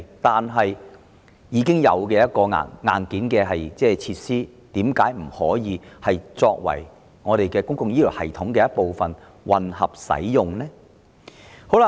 但既然已有現存硬件設施，為何不能讓它們成為公共醫療系統的一部分作混合用途呢？